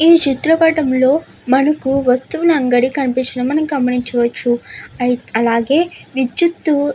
ఈ చిత్రపటంలో మనకు వస్తువుల అంగడి కనిపించడం మనం గమనించవచ్చు అయిత్ అలాగే విద్యుత్తు --